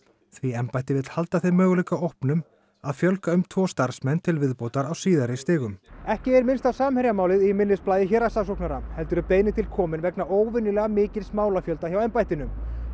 því embættið vill halda þeim möguleika opnum að fjölga um tvo starfsmenn til viðbótar á síðari stigum ekki er minnst á Samherjamálið í minnisblaði héraðssaksóknara heldur er beiðnin tilkomin vegna óvenjulega mikils málafjölda hjá embættinu